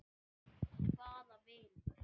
Hvaða vinur?